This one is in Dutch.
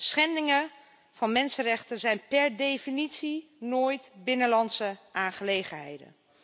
Schendingen van mensenrechten zijn per definitie nooit binnenlandse aangelegenheden.